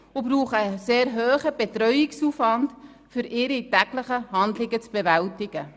Sie brauchen einen sehr hohen Betreuungsaufwand, um ihre täglichen Handlungen zu bewältigen.